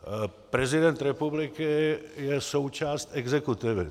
Prezident republiky je součást exekutivy.